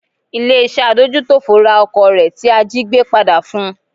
Ilé iṣẹ́ adójútòfò ra ọkọ̀ rẹ̀ tí a jígbé padà fun.